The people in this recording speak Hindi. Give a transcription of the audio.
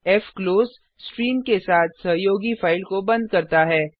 फ्क्लोज स्ट्रीम के साथ सहयोगी फाइल को बंद करता है